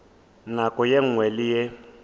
nako ye nngwe le ye